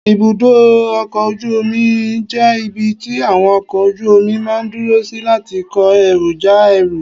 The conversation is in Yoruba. ibùdó ọkọ̀ ojú omi jẹ́ ibi tí àwọn ọkọ̀ ojú omi máa ń dúró sí láti kó ẹrú, já ẹrú